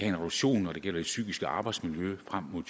en reduktion når det gælder det psykiske arbejdsmiljø frem mod